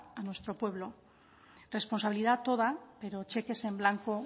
a nuestro pueblo responsabilidad toda pero cheques en blanco